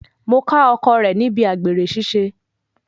Mo ká ọkọ rẹ̀ níbi àgbèrè ṣiṣẹ́.